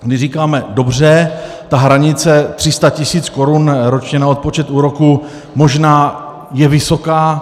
My říkáme dobře, ta hranice 300 tisíc korun ročně na odpočet úroků možná je vysoká.